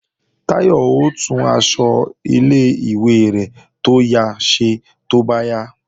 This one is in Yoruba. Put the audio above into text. Táyọ̀ ó tún aṣọ ilé-ìwé rẹ̀ tó ya ṣe tó bá yá